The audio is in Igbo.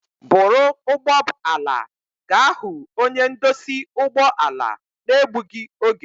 Bụrụ ụgbọb ala a ga hu onye ndosi ụgbọ ala. na-egbugi oge!